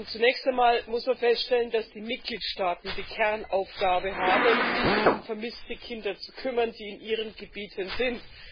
Zunächst einmal muss man feststellen, dass die Mitgliedstaaten die Kernaufgabe haben, sich um vermisste Kinder zu kümmern, die in ihren Gebieten sind.